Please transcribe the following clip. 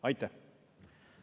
Aitäh!